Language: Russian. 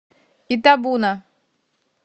итабуна